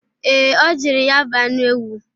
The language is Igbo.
Ee, o jiri ya bụ anụ ewu.